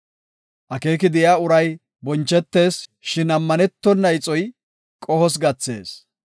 Akeeki de7iya uray bonchetees; shin ammanetona ixoy qohos gathees.